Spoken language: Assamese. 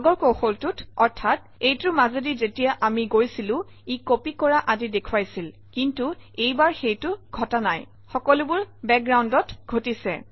আগৰ কৌশলটোত অৰ্থাৎ এইটোৰ মাজেদি যেতিয়া আমি গৈছিলো ই কপি কৰা আদি দেখুৱাইছিল কিন্তু এইবাৰ সেইটো ঘটা নাই সকলোবোৰ বেকগ্ৰাউণ্ডত ঘটিছে